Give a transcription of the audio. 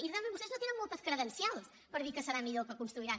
i realment vostès no tenen moltes credencials per dir que serà millor el que construiran